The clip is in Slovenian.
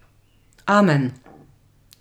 Amen.